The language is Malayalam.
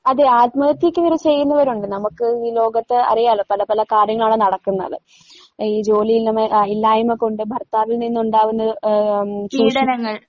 അതെ ആത്മഹത്യയ്ക്ക് വരെ ചെയ്യുന്നവരൊണ്ട് നമക്ക് ഈ ലോകത്ത് അറിയാലോ പല പല കാര്യങ്ങളാണ് നടക്കുന്നത്. ഈ ജോലി ഇല്ലമ്മ ആ ഇല്ലായ്മകൊണ്ട് ഭർത്താവിൽ നിന്നൊണ്ടാകുന്നത് ഏഹ് ഉം ചൂഷ